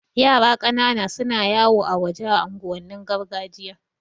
Yara ƙanana suna yawo a waje a unguwannin gargajiya